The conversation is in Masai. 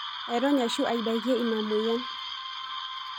Airony ashu aidakie ina moyian.